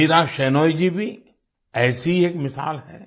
मीरा शेनॉय जी भी ऐसी ही एक मिसाल है